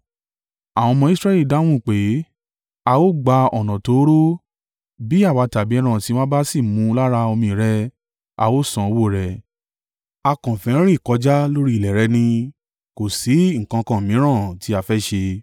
Àwọn ọmọ Israẹli dáhùn pé, “A ó gba ọ̀nà tóóró, bí àwa tàbí ẹran ọ̀sìn wa bá sì mú lára omi rẹ, a ó san owó rẹ̀. A kàn fẹ́ rìn kọjá lórí ilẹ̀ rẹ ni kò sí nǹkan kan mìíràn tí a fẹ́ ṣe.”